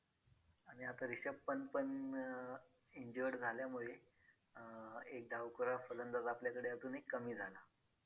आणि आता रिषभ पंत पण अं injured झाल्यामुळे अं एक डावखुरा फलंदाज आपल्याकडे अजून एक कमी झाला.